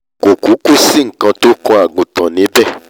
kò kúkú sí nkan tó kan àgùntàn níbẹ̀